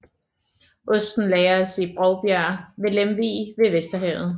Osten lagres i Bovbjerg ved Lemvig ved Vesterhavet